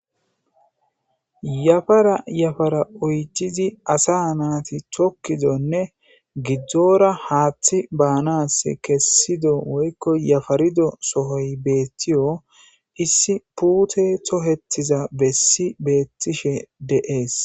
Yafara yafara oycizi asa naati chokkizonne gidzdzora haaththi baanas kessido woykko yafarido sohoy beettiyo issi puute tohettiza bessi beettishe deees